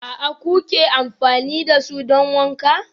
aA kuke amfani da su don wanka?